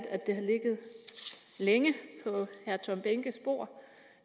at det har ligget længe på herre tom behnkes bord